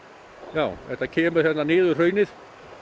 já þetta kemur hérna niður hraunið